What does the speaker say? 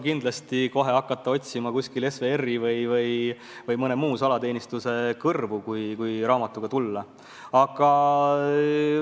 Kindlasti ei maksa kohe hakata otsima SVR-i või mõne muu salateenistuse kõrvu, kui tasuta raamatut pakutakse.